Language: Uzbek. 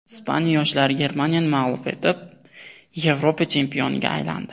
Ispaniya yoshlari Germaniyani mag‘lub etib, Yevropa chempionga aylandi .